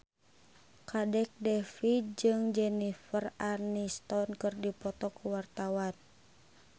Kadek Devi jeung Jennifer Aniston keur dipoto ku wartawan